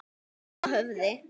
Halla höfði.